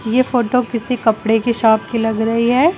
यह फोटो किसी कपड़े की शॉप लग रही है।